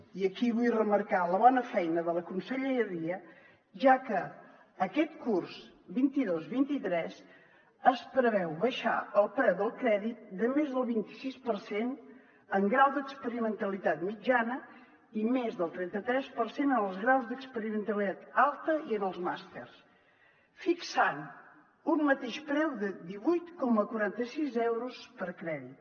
i aquí vull remarcar la bona feina de la conselleria ja que aquest curs vint dos vint tres es preveu abaixar el preu del crèdit de més del vint i sis per cent en grau d’experimentalitat mitjana i més del trenta tres per cent en els graus d’experimentalitat alta i en els màsters fixant un mateix preu de divuit coma quaranta sis euros per crèdit